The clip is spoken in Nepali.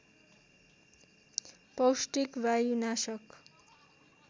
पौष्टिक वायुनाशक